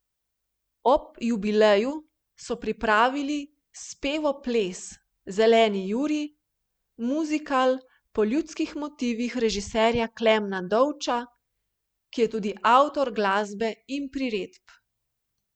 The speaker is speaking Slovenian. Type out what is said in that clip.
Ob jubileju so pripravili spevoples Zeleni Jurij, muzikal po ljudskih motivih režiserja Klemna Dovča, ki je tudi avtor glasbe in priredb.